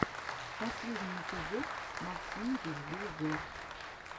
последний эпизод максим ревью зор